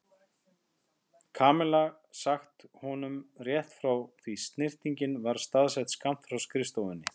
Kamilla sagt honum rétt frá því snyrtingin var staðsett skammt frá skrifstofunni.